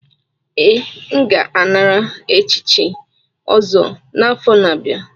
Ee, m ga-anara echichi ọzọ n'afọ na-abịa.